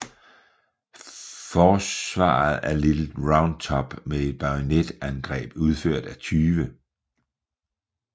Forsvaret af Little Round Top med et bajonetangreb udført af 20